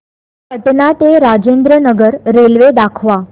पटणा ते राजेंद्र नगर रेल्वे दाखवा